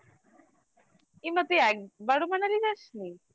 এমা তুই একবারও Manali যাসনি